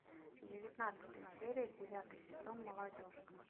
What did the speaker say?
девятнадцатая серия девятый сезон молодежка